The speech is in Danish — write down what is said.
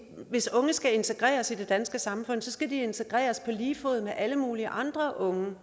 hvis unge skal integreres i det danske samfund skal de integreres på lige fod med alle mulige andre unge